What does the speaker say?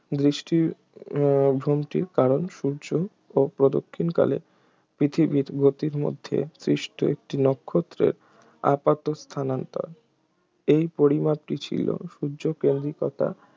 দৃষ্টিভ্রমটির কারণ সূর্য ও প্রদক্ষিণকালে পৃথিবীর গতির মাধ্যে সৃষ্ট একটি নক্ষত্রের আপাত স্থানান্তর এই পরিমাপটি ছিল সূর্যকেন্দ্রিকতা